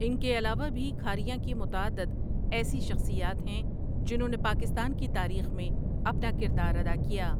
ان کے علاوہ بھی کھاریاں کی متعدد ایسی شخصیات ہیں جنھوں نے پاکستان کی تاریخ میں اپنا کردار ادا کیا ۔